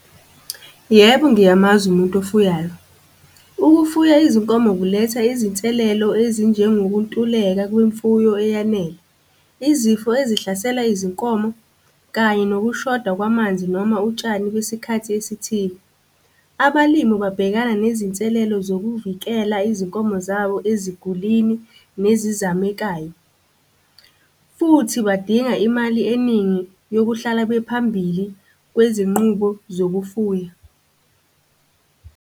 Yebo, ngiyamazi umuntu ofuyayo. Ukufuya izinkomo kuletha izinselelo ezinjengokuntuleka kwemfuyo eyanele. Izifo ezihlasela izinkomo kanye nokushoda kwamanzi noma utshani kwisikhathi esithile. Abalimi babhekana nezinselelo zokuvikela izinkomo zabo ezigulini nezizamekayo, futhi badinga imali eningi yokuhlala bephambili kwezinqubo zokufuya.